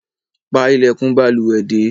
Pa ilèkùn balùwè dé